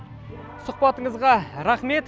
сұхбатыңызға рахмет